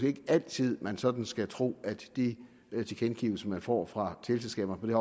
ikke altid man sådan skal tro at de tilkendegivelser man får fra teleselskaberne